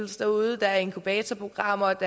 derude der er inkubatorprogrammer og